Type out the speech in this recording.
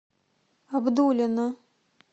абдулино